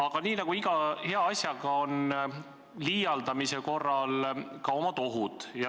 Aga nii nagu on iga hea asjaga, on liialdamise korral omad ohud.